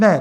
Ne.